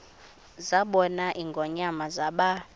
zabona ingonyama zaba